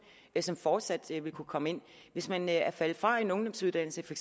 som fortsat vil kunne komme ind hvis man er faldet fra en ungdomsuddannelse for